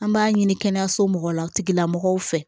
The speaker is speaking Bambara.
An b'a ɲini kɛnɛyaso mɔgɔw la tigilamɔgɔw fɛ